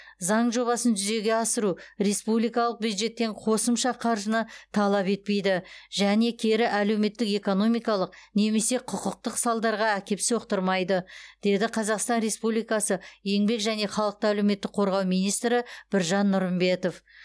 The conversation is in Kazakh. заң жобасын жүзеге асыру республикалық бюджеттен қосымша қаржыны талап етпейді және кері әлеуметтік экономикалық немесе құқықтық салдарға әкеп соқтырмайды деді қазақстан республикасы еңбек және халықты әлеуметтік қорғау министрі біржан нұрымбетов